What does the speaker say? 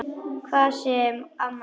Hvað sem amma segir.